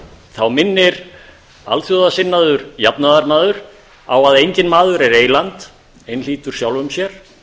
þá minnir alþjóðasinnaður jafnaðarmaður á að enginn maður er eyland einhlítur sjálfum sér